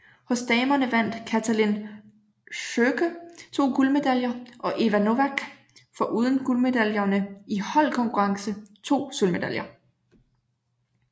Hos damerne vandt Katalin Szöke 2 guldmedaljer og Éva Novák foruden guldmedalje i holdkonkurrence 2 sølvmedaljer